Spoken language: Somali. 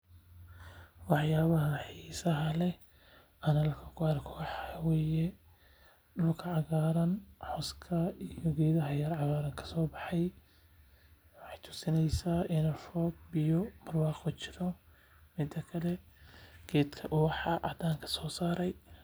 Wax yaabaha xiisaha leh aan halkan ku arkaa wax waye dulka cagaaran cooska iyo geedaha cagaaran kasoo baxay.